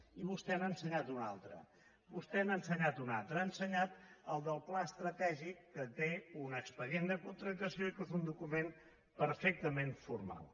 i vostè n’ha ensenyat un altre vostè n’ha ensenyat un altre ha ensenyat el del pla estratègic que té un expedient de contractació i que és un document perfectament formal